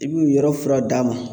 I b'u yɔrɔ fura d'a ma